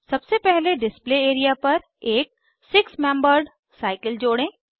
सबसे पहले display area पर एक सिक्स मेम्बर्ड साइकिल जोड़ें